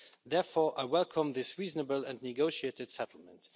Therefore, I welcome this reasonable and negotiated settlement.